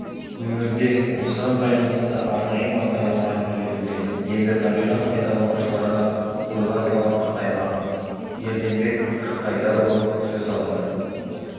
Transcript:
өңірде осыған байланысты арнайы бағдарлама әзірленуде енді табиғат пайдаланушыларға қойылар талап қатаймақ ерденбек жылқайдарұлы сөз алады